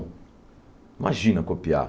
Imagina copiar.